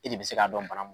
E de bɛ se k'a dɔn bana mun